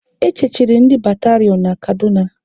E chechiri ndị batarion na Kaduna